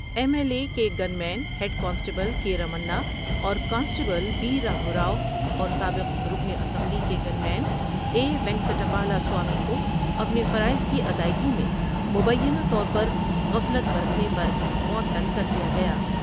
M L A کے gunman head constable K Ramana اور constable B راگھورا ؤ اور سابق رکن اسمبلی کے gunman A Venkat Appalaswamy کو اپنے فرائض کی ادائیگی میں مبینہ طور پر غفلت برتنے پرمعطل کر دیا گیا ۔